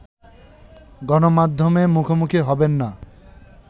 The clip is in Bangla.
গণমাধ্যমের মুখোমুখি হবেন না